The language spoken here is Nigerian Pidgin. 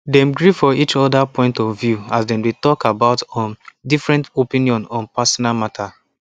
dem gree for each other point of view as dem dey talk about um different opinion on personal matter